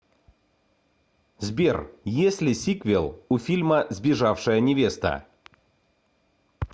сбер есть ли сиквел у фильма сбежавшая невеста